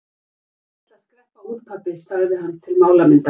Ég ætla að skreppa út, pabbi, sagði hann til málamynda.